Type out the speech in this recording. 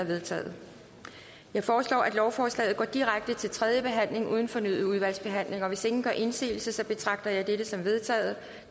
vedtaget jeg foreslår at lovforslaget går direkte til tredje behandling uden fornyet udvalgsbehandling hvis ingen gør indsigelse betragter jeg dette som vedtaget